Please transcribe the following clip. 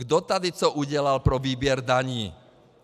Kdo tady co udělal pro výběr daní?